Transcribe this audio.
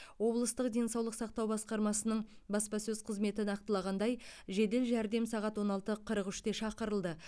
облыстық денсаулық сақтау басқармасының баспасөз қызметі нақтылағандай жедел жәрдем сағат он алты қырық үште шақырылды